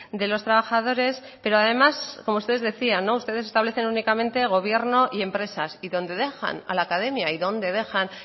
de los trabajadores pero además como ustedes decían ustedes establecen únicamente gobierno y empresas y dónde dejan a la academia y dónde dejan